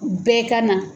Bɛɛ ka na